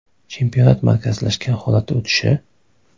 Chempionat markazlashgan holatda o‘tishi?